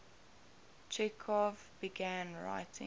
chekhov began writing